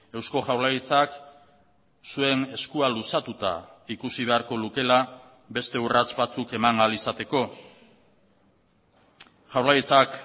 eusko jaurlaritzak zuen eskua luzatuta ikusi beharko lukeela beste urrats batzuk eman ahal izateko jaurlaritzak